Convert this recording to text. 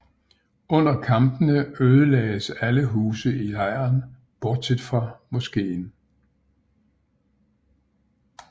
Under kampene ødelagdes alle huse i lejren bortset fra moskén